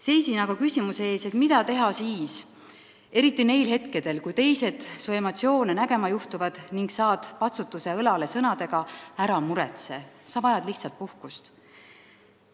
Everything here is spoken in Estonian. Seisin aga küsimuse ees, mida teha siis, neil hetkedel, kui teised su emotsioone nägema juhtuvad ning saad patsutuse õlale sõnadega "Ära muretse, sa vajad lihtsalt puhkust".